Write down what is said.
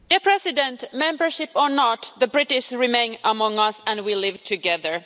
Madam President, membership or not, the British remain among us and we live together.